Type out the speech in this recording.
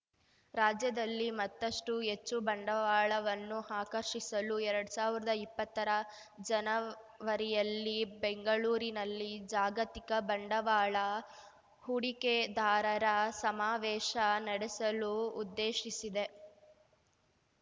ರಾಜ್ಯದಲ್ಲಿ ಮತ್ತಷ್ಟು ಹೆಚ್ಚು ಬಂಡವಾಳವನ್ನು ಆಕರ್ಷಿಸಲು ಎರಡ್ ಸಾವಿರ್ದಾ ಇಪ್ಪತ್ತರ ಜನವರಿಯಲ್ಲಿ ಬೆಂಗಳೂರಿನಲ್ಲಿ ಜಾಗತಿಕ ಬಂಡವಾಳ ಹೂಡಿಕೆದಾರರ ಸಮಾವೇಶ ನಡೆಸಲು ಉದ್ದೇಶಿಸಿದೆ